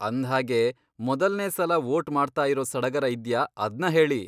ಅಂದ್ಹಾಗೆ ಮೊದಲ್ನೇ ಸಲ ವೋಟ್ ಮಾಡ್ತಾಯಿರೋ ಸಡಗರ ಇದ್ಯಾ ಅದ್ನ ಹೇಳಿ.